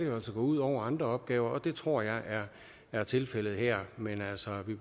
gå ud over andre opgaver det tror jeg er tilfældet her men altså vi